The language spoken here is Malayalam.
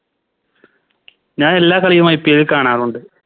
ഞാനെല്ലാ കളിയും IPL ൽ കാണാറുണ്ട്